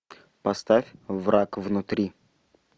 поставь враг внутри